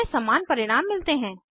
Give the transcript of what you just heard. हमें समान परिणाम मिलते हैं